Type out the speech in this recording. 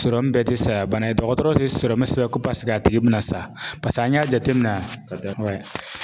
bɛɛ tɛ saya bana ye dɔgɔtɔrɔ tɛ sɔrɔmu sɛbɛn ko paseke a tigi bɛna sa paseke an y'a jate minɛ